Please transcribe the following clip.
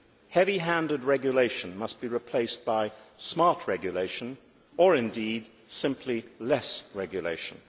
heavy handed regulation must be replaced by smart regulation or indeed simply less regulation.